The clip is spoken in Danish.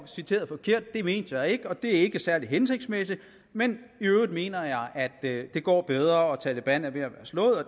citeret forkert det mente jeg ikke og det er ikke særlig hensigtsmæssigt men i øvrigt mener jeg at det går bedre og at taleban er ved at være slået og